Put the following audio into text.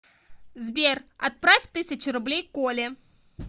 сбер отправь тысячу рублей коле